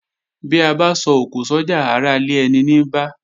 Bí abá so òkò sójà ará ilé eni ní bá